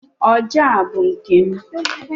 ọjà a bụ nke m